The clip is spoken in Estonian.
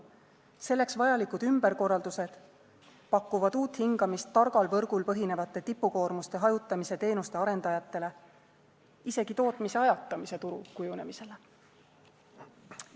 Selleks vajalikud ümberkorraldused pakuvad uut hingamist targal võrgul põhinevate tipukoormuste hajutamise teenuste arendajatele, isegi tootmise ajatamise turu kujunemisele.